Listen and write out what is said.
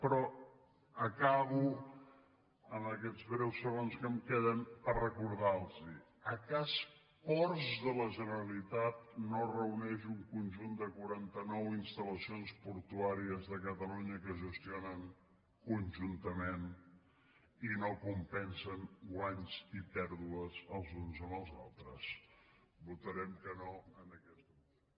però acabo amb aquests breus segons que em queden per recordar los és que ports de la generalitat no reuneix un conjunt de quaranta nou instal·lacions portuàries de catalunya que es gestionen conjuntament i no compensen guanys i pèrdues els uns amb els altres votarem que no en aquesta moció